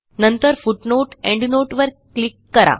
नंतर footnoteएंडनोट वर क्लिक करा